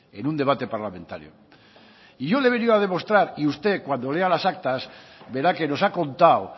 en un debate parlamentario y yo le he venido a demostrar y usted cuando lea las actas verá que nos ha contado